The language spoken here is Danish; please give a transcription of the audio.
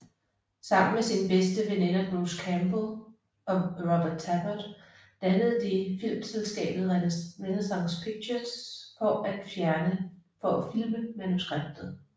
Sammen med sine bedste venner Bruce Campbell og Robert Tapert dannede de filmselskabet Renaissance Pictures for at filme manuskriptet